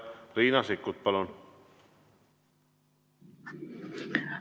Riina Sikkut, palun!